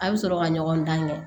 A bɛ sɔrɔ ka ɲɔgɔn dan kɛ